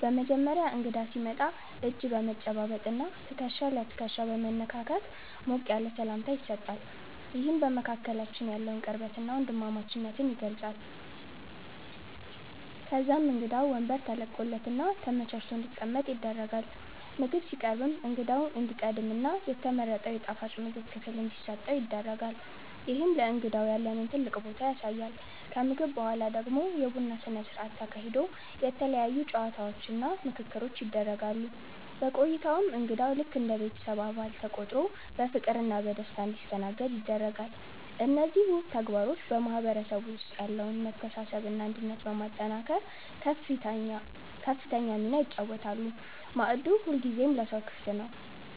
በመጀመሪያ እንግዳ ሲመጣ እጅ በመጨባበጥና ትከሻ ለትከሻ በመነካካት ሞቅ ያለ ሰላምታ ይሰጣል፤ ይህም በመካከላችን ያለውን ቅርበትና ወንድማማችነት ይገልጻል። ከዛም እንግዳው ወንበር ተለቆለትና ተመቻችቶ እንዲቀመጥ ይደረጋል። ምግብ ሲቀርብም እንግዳው እንዲቀድምና የተመረጠው የጣፋጭ ምግብ ክፍል እንዲሰጠው ይደረጋል፤ ይህም ለእንግዳው ያለንን ትልቅ ቦታ ያሳያል። ከምግብ በኋላ ደግሞ የቡና ስነ ስርዓት ተካሂዶ የተለያዩ ጨዋታዎችና ምክክሮች ይደረጋሉ። በቆይታውም እንግዳው ልክ እንደ ቤተሰብ አባል ተቆጥሮ በፍቅርና በደስታ እንዲስተናገድ ይደረጋል። እነዚህ ውብ ተግባሮች በማህበረሰቡ ውስጥ ያለውን መተሳሰብና አንድነት በማጠናከር ከፍተኛ ሚና ይጫወታሉ፤ ማዕዱ ሁልጊዜም ለሰው ክፍት ነው።